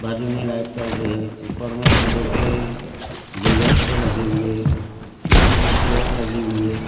बाजू में लाइट चल रहे हैं ऊपर में फूलों के गुलदस्ते लगे हुए पीछे में चेयर लगी हुई है।